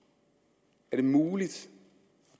jeg muligt at